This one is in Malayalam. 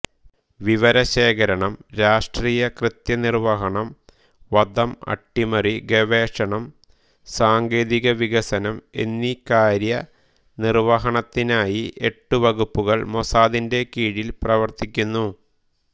വിവരശേഖരണം രാഷ്ട്രീയ കൃത്യനിർവ്വഹണം വധം അട്ടിമറി ഗവേഷണം സാങ്കേതികവികസനം എന്നീ കാര്യ നിർവ്വഹണത്തിനായി എട്ടു വകുപ്പുകൾ മൊസാദിന്റെ കീഴിൽ പ്രവർത്തിക്കുന്നു